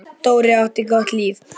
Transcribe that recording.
Dóri átti gott líf.